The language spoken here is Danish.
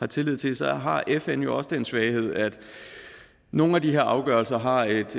tillid til så har fn jo også den svaghed at nogle af de her afgørelser har et